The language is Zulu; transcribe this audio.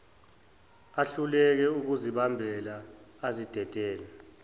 ahluleke ukuzibamba azidedele